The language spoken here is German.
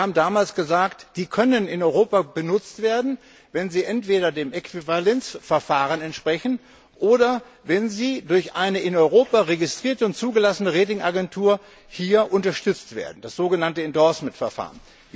Und wir haben damals gesagt Sie können in Europa benutzt werden, wenn sie entweder dem Äquivalenzverfahren entsprechen oder wenn sie durch eine in Europa registrierte und zugelassene Ratingagentur unterstützt werden, das sogenannte endorsement Verfahren.